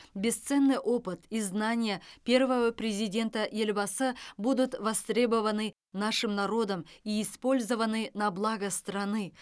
бесценный опыт и знания первого президента елбасы будут востребованы нашим народом и использованы на благо страны